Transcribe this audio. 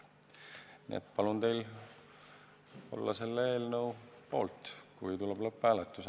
Nii et palun teil olla selle eelnõu poolt, kui tuleb lõpphääletus.